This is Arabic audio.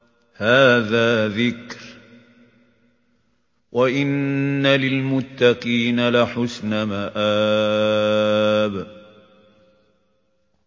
هَٰذَا ذِكْرٌ ۚ وَإِنَّ لِلْمُتَّقِينَ لَحُسْنَ مَآبٍ